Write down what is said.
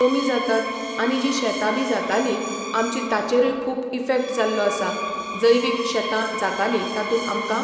कमी जातात आनी जी शेतां बी जाताली आमची ताचेरूय खूब इफेक्ट जाल्लो आसा जैवीक शेतां जाताली तातूंत आमकां